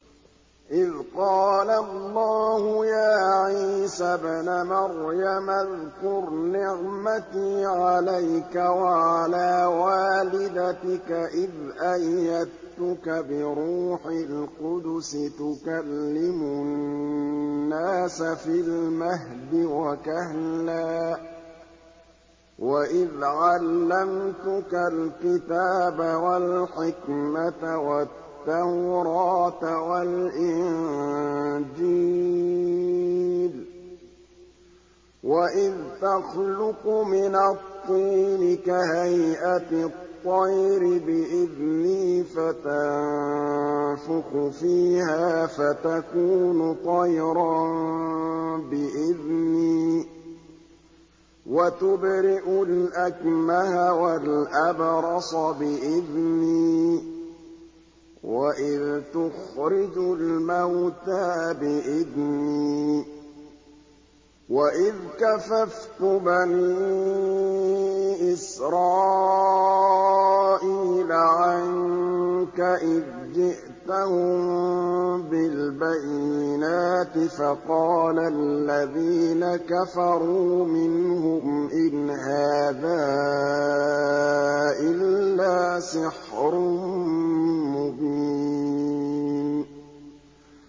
إِذْ قَالَ اللَّهُ يَا عِيسَى ابْنَ مَرْيَمَ اذْكُرْ نِعْمَتِي عَلَيْكَ وَعَلَىٰ وَالِدَتِكَ إِذْ أَيَّدتُّكَ بِرُوحِ الْقُدُسِ تُكَلِّمُ النَّاسَ فِي الْمَهْدِ وَكَهْلًا ۖ وَإِذْ عَلَّمْتُكَ الْكِتَابَ وَالْحِكْمَةَ وَالتَّوْرَاةَ وَالْإِنجِيلَ ۖ وَإِذْ تَخْلُقُ مِنَ الطِّينِ كَهَيْئَةِ الطَّيْرِ بِإِذْنِي فَتَنفُخُ فِيهَا فَتَكُونُ طَيْرًا بِإِذْنِي ۖ وَتُبْرِئُ الْأَكْمَهَ وَالْأَبْرَصَ بِإِذْنِي ۖ وَإِذْ تُخْرِجُ الْمَوْتَىٰ بِإِذْنِي ۖ وَإِذْ كَفَفْتُ بَنِي إِسْرَائِيلَ عَنكَ إِذْ جِئْتَهُم بِالْبَيِّنَاتِ فَقَالَ الَّذِينَ كَفَرُوا مِنْهُمْ إِنْ هَٰذَا إِلَّا سِحْرٌ مُّبِينٌ